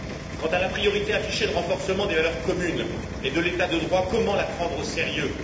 Quant à la priorité affichée de renforcement des valeurs communes et de l'état de droit, comment la prendre au sérieux?